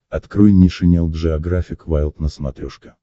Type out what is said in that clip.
открой нейшенел джеографик вайлд на смотрешке